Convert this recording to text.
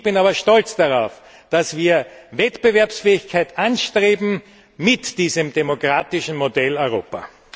Ich bin aber stolz darauf, dass wir Wettbewerbsfähigkeit anstreben mit diesem demokratischen Modell Europa!